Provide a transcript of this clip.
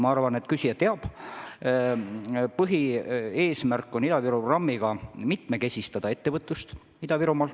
Ma arvan, et küsija teab, et põhieesmärk on Ida-Viru programmiga mitmekesistada ettevõtlust Ida-Virumaal.